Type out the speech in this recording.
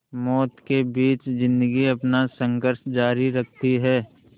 मौत के बीच ज़िंदगी अपना संघर्ष जारी रखती है